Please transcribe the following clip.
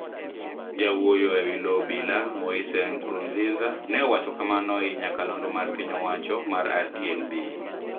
Jawuoyo e wi loo obila Moise Nkurunziza ne owacho kamano e i nyakalondo mar piny owacho mar RTNB.